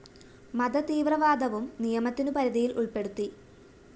മത തീവവ്രാദവും നിയമത്തിനു പരിധിയില്‍ ഉള്‍പ്പെടുത്തി